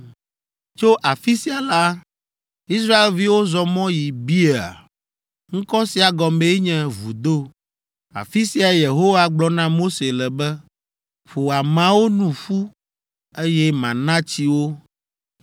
Tso afi sia la, Israelviwo zɔ mɔ yi Beer. Ŋkɔ sia gɔmee nye “Vudo.” Afi siae Yehowa gblɔ na Mose le be, “Ƒo ameawo nu ƒu, eye mana tsi wo.”